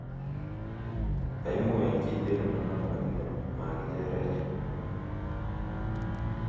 kaimuech kiteen non, lakini magicherech